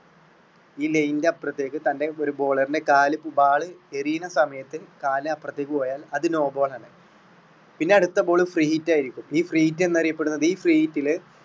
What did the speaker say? ഈ line ന്റെ അപ്പുറത്തേക്ക് തൻെറ ഒരു bowler ന്റെ കാല് കൂടാതെ എറിയുന്ന സമയത്ത് കാല് അപ്പുറത്തേക്ക് പോയാൽ അത് no ball ആണ് പിന്നെ അടുത്ത ball free hit ആയിരിക്കും ഈ free hit എന്ന് അറിയപ്പെടുന്നത് ഈ free hit റ്റില്.